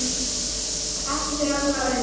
Ekki fyrir allra augum.